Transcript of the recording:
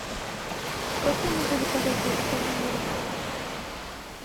как я могу заказать детское меню